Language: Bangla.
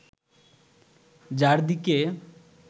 যার দিকে